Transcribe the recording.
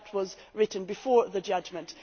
That was written before the judgment.